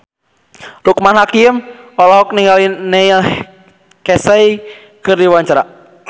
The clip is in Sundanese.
Loekman Hakim olohok ningali Neil Casey keur diwawancara